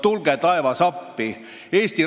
Tule taevas appi!